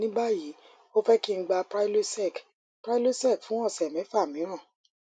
ní báyìí ó fẹ kí n gba prylosec prylosec fún ọsẹ mẹfà míràn